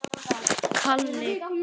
Blessuð sé minning móður minnar.